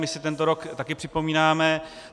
My si tento rok taky připomínáme.